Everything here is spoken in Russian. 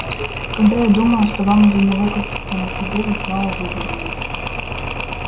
когда я думал что вам уже не выкрутиться на суде вы снова вывернулись